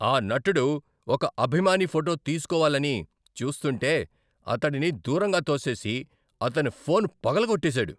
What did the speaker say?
ఆ నటుడు ఒక అభిమాని ఫోటో తీస్కోవాలని చూస్తుంటే అతడిని దూరంగా తోసేసి, అతని ఫోన్ పగలగోట్టేసాడు.